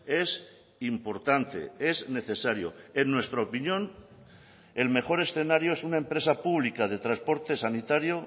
es importante es necesario en nuestra opinión el mejor escenario es una empresa pública de transporte sanitario